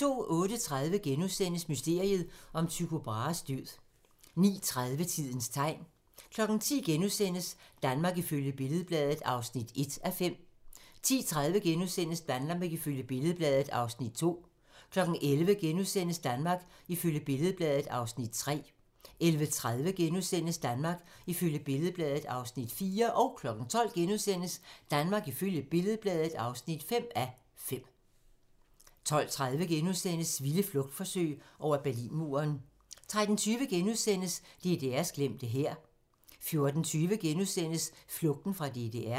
08:30: Mysteriet om Tycho Brahes død * 09:30: Tidens tegn 10:00: Danmark ifølge Billed-Bladet (1:5)* 10:30: Danmark ifølge Billed-Bladet (2:5)* 11:00: Danmark ifølge Billed-Bladet (3:5)* 11:30: Danmark ifølge Billed-Bladet (4:5)* 12:00: Danmark ifølge Billed-Bladet (5:5)* 12:30: Vilde flugtforsøg over Berlinmuren * 13:20: DDR's glemte hær * 14:20: Flugten fra DDR *